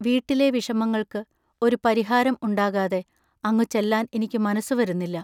വീട്ടിലെ വിഷമങ്ങൾക്ക് ഒരു പരിഹാരം ഉണ്ടാകാതെ അങ്ങു ചെല്ലാൻ എനിക്കു മനസ്സു വരുന്നില്ല.